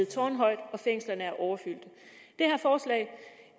tårnhøjt og at fængslerne er overfyldte